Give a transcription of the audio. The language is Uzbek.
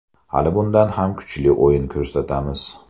Hali bundan ham kuchli o‘yin ko‘rsatamiz.